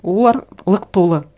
олар лық толы